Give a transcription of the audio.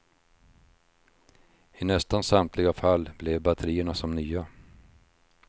I nästan samtliga fall blev batterierna som nya.